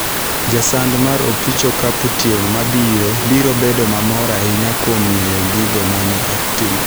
Jasand' mar opich okapu tieng mabiro biro bedo mamor ahinya kuom ng'eyo gigo ma ne otimo.